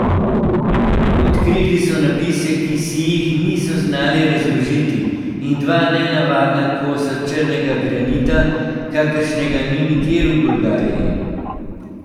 Odkrili so napise, ki si jih niso znali razložiti, in dva nenavadna kosa črnega granita, kakršnega ni nikjer v Bolgariji.